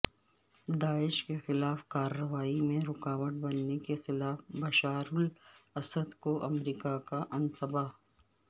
داعش کے خلاف کارروائی میں رکاوٹ بننے کے خلاف بشار الاسد کو امریکہ کا انتباہ